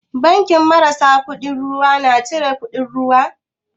Banki marasa kuɗin ruwa na cire kuɗin ruwa?